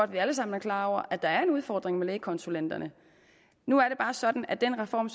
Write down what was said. vi alle sammen er klar over at der er en udfordring med lægekonsulenterne nu er det bare sådan at den reform